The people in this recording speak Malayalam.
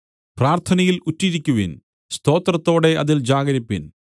പ്രാർത്ഥനയിൽ ഉറ്റിരിക്കുവിൻ സ്തോത്രത്തോടെ അതിൽ ജാഗരിപ്പിൻ